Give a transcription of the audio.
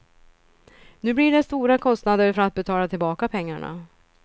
Nu blir det stora kostnader för att betala tillbaka pengarna.